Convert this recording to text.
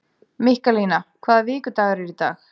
Mikkalína, hvaða vikudagur er í dag?